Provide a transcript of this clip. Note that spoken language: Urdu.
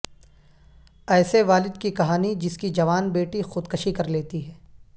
ایسے والد کی کہانی جس کی جوان بیٹی خود کشی کر لیتی ہے